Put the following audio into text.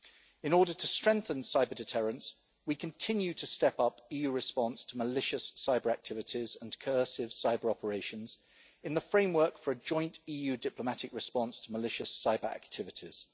In order to strengthen cyber-deterrence, we continue to step up EU response to malicious cyber-activities and incursive cyber-operations in the framework for a joint EU diplomatic response to malicious cyber-activities.